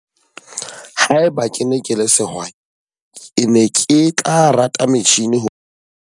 Haeba ke ne ke le sehwai, ke ne ke tla rata metjhini ho.